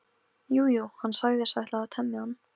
Jú, jú, hann sagðist ætla að temja hann.